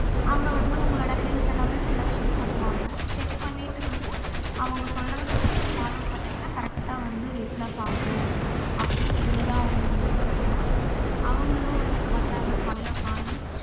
அங்க வந்து உங்களோட health எல்லாமே full ஆ check பண்ணுவாங்க check பண்ணிட்டு வந்து அவுங்க சொல்றத நீங்க follow பண்ணிங்கன correct ஆ வந்து weight loss ஆகும் அப்டினு சொல்லி தான் அவங்கள invite பன்னேன் அவங்களும் வந்த் வந்தாங்க காலைல morning